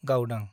गावदां